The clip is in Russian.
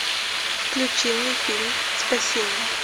включи мне фильм спасение